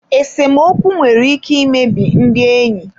Esemokwu nwere ike imebi ndị enyi.